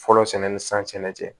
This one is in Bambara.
Fɔlɔ sɛnɛ ni san tɛnɛ cɛ